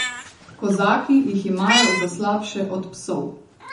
Kozaki jih imajo za slabše od psov.